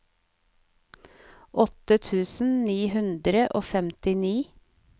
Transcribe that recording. åtte tusen ni hundre og femtini